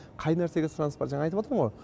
қай нәрсеге сұраныс бар жаңа айтыватырмын ғо